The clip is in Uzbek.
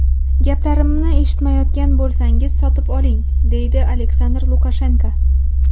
Gaplarimni eshitmayotgan bo‘lsangiz, sotib oling”, deydi Aleksandr Lukashenko.